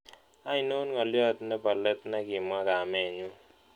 Ainon ng'oliot ne po let negimwa gamenyun